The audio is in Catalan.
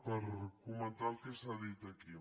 per comentar el que s’ha dit aquí